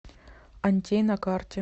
антей на карте